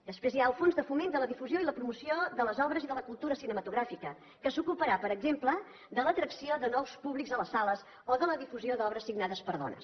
després hi ha el fons de foment de la difusió i la promoció de les obres i de la cultura cinematogràfica que s’ocuparà per exemple de l’atracció de nous públics a les sales o de la difusió d’obres signades per dones